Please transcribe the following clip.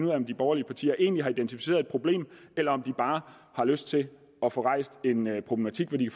af om de borgerlige partier egentlig har identificeret et problem eller om de bare har lyst til at få rejst en problematik hvor de